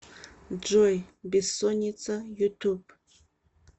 джой бессонница ютуб